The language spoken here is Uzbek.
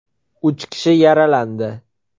Uch kishi yaralandi.